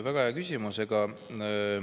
Aitäh!